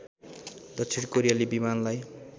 दक्षिण कोरियाली विमानलाई